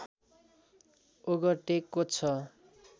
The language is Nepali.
ओगटेको छ